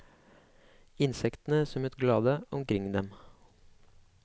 Insektene summet glade omkring dem.